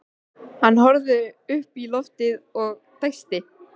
Hann horfði upp í loftið og dæsti.